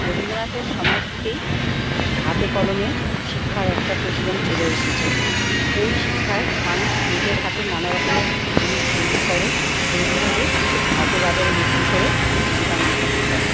রবীন্দ্রনাথের সময় থেকেই হাতে কলমে শিক্ষার একটা প্রচলন চলে এসেছে। এই শিক্ষায় মানুষ নিজের হাতে নানা রকমের জিনিস তৈরি করে। তৈরি করে হাটে বাজারে বিক্রি করে জীবিকা নির্বাহ করে ।